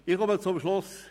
Ich komme zum Schluss.